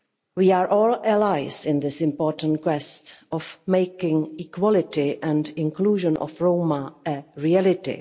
We are all allies in this important quest to make equality and the inclusion of Roma a reality.